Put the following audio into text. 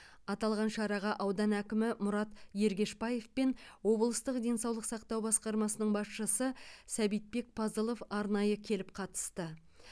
аталған шараға аудан әкімі мұрат ергешбаев пен облыстық денсаулық сақтау басқармасының басшысы сәбитбек пазылов арнайы келіп қатысты